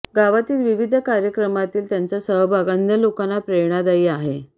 गावातील विविध कार्यक्रमातील त्यांचा सहभाग अन्य लोकांना प्रेरणादायी आहे